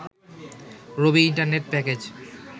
Rabi internet package